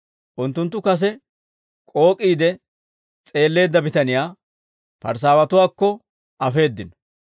Unttunttu kase k'ook'iide s'eelleedda bitaniyaa Parisaawatuwaakko afeeddino.